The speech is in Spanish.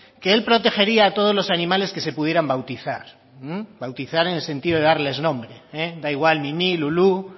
que él protegería a todos los animales que se pudieran bautizar bautizar en el sentido de darles nombre da igual mimí lulú